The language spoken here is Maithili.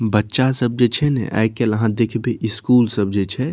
बच्चा सब जे छे ने आज कल अहाँ देखबि स्कूल सब जे छे --